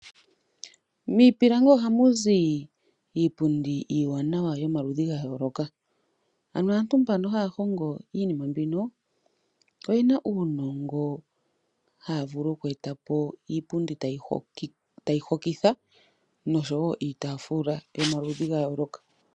Miipilangi ohamuzi iipundi iiwanawa yomaludhi gayooloka, ano aantu mbano haya hongo iinima mbino oyena uunongo hayavulu okweta po iipundi tayi hokitha noshowo iitaafula yomaludhi gayooloka.